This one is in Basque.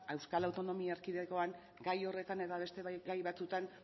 euskal autonomia erkidegoan gai horretan eta beste gai batzutan